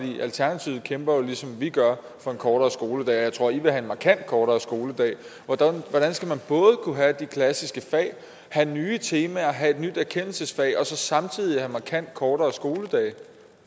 alternativet kæmper jo ligesom vi gør for en kortere skoledag og jeg tror i vil have en markant kortere skoledag hvordan skal man både kunne have de klassiske fag have nye temaer og have et nyt erkendelsensfag og så samtidig have markant kortere skoledage